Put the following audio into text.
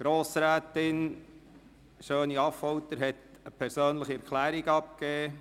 Grossrätin Schöni-Affolter hat dazu die persönliche Erklärung abgegeben;